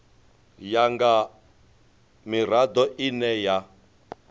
ya nga mirado ine ya